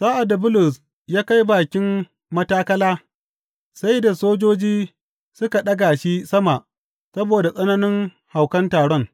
Sa’ad da Bulus ya kai bakin matakala, sai da sojoji suka ɗaga shi sama saboda tsananin haukan taron.